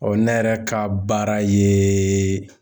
ne yɛrɛ ka baara ye